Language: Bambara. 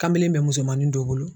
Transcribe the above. Kamalen bɛ musomanin dɔw bolo.